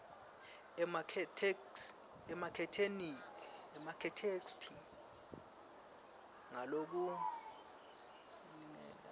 ematheksthi ngalokulingene uma